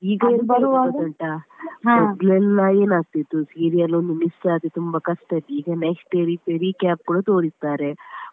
ಮೊದ್ಲೆಲ್ಲಾ ಏನ್ ಆಗ್ತಿತ್ತು serial ಒಂದು miss ಆದ್ರೆ ತುಂಬಾ ಕಷ್ಟ ಇತ್ತು ಈಗ next day recap ಕೂಡ ತೋರಿಸ್ತಾರೆ.